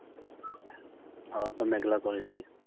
আবার তো মেঘলা করেছে।